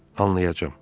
Anlayacam.